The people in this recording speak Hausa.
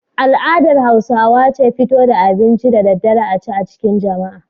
Al'adar Hausawa ce fito da abinci da daddare a ci a cikin jama'a.